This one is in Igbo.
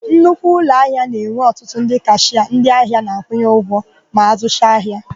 Nnukwu ụlọahịa na-enwe ọtụtụ ndị kashịa ndịahịa na-akwụnye ụgwọ ma ha zụcha ahia.